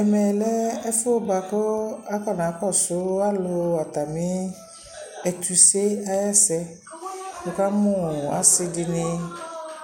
ɛmɛ lɛ ɛƒʋɛ bʋakʋ akɔna kɔsʋ alʋ atami ɛtʋsɛ ayi ɛsɛ, wʋkamʋ asii dini